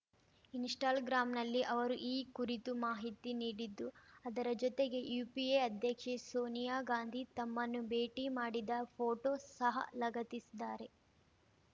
install ಗ್ರಾಂನಲ್ಲಿ ಅವರು ಈ ಕುರಿತು ಮಾಹಿತಿ ನೀಡಿದ್ದು ಅದರ ಜೊತೆಗೆ ಯುಪಿಎ ಅಧ್ಯಕ್ಷೆ ಸೋನಿಯಾ ಗಾಂಧಿ ತಮ್ಮನ್ನು ಭೇಟಿ ಮಾಡಿದ್ದ ಫೋಟೋ ಸಹ ಲಗತ್ತಿಸಿದ್ದಾರೆ